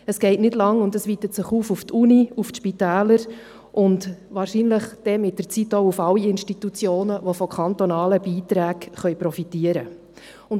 Es dauert nicht lange, und es weitet sich aus auf die Universität, auf die Spitäler und mit der Zeit wohl auf alle Institutionen, die von kantonalen Beiträgen profitieren können.